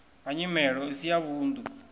ha nyimelo isi ya vhunḓu